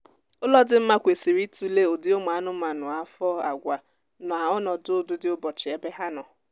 ụlọ dị mma kwesịrị itule ụdị ụmụ anụmanụ afo àgwà na ọnọdụ ụdịdịụbọchị ebe ha nọ